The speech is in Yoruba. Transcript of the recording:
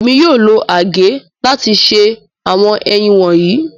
Émi yóò lo àgè lati se àwọn èyin wọnyi.